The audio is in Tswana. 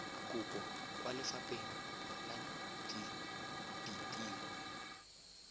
kopo kwa lefapheng la ditiro